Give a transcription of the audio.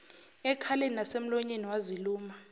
ekhaleni nasemlonyeni waziluma